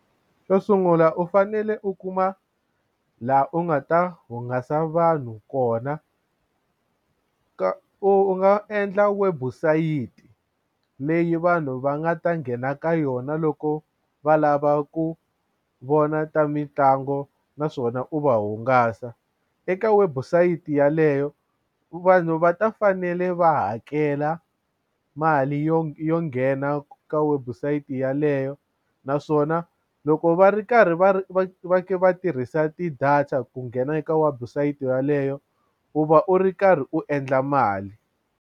Xo sungula u fanele u kuma laha u nga ta hungasa vanhu kona ka u nga endla webusayiti leyi vanhu va nga ta nghena ka yona loko va lava ku vona ta mitlangu naswona ku va hungasa eka website yaleyo vanhu va ta fanele va hakela mali yo yo nghena ka website yeleyo naswona loko va ri karhi va ri va va tirhisa ti-data ku nghena eka website yaleyo u va u ri karhi u endla mali.